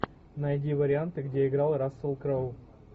найди варианты где играл рассел кроу